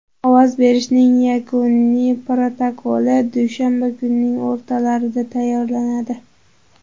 Ovoz berishning yakuniy protokoli dushanba kunining o‘rtalarida tayyorlanadi.